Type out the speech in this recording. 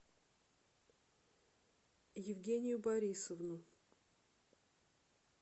евгению борисовну